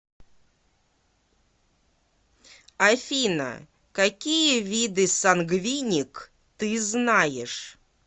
афина какие виды сангвиник ты знаешь